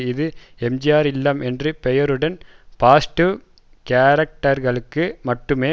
இது எம்ஜிஆர் இல்லம் என்ற பெயருடன் பாஸிடிவ் கேரக்டர்களுக்கு மட்டுமே